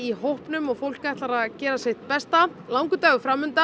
hópnum og fólk ætlar að gera sitt besta það langur dagur